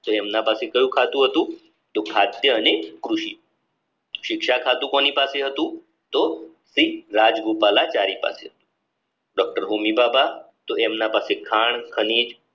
તેમના પાસે કયું ખાતું હતું કે ખાદ્ય અને કૃષિ શિક્ષા ખાતું કોની પાસે હતું એમના પાસે ખાણ ખનીજ